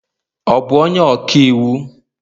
ọ bu onye ọka iwu?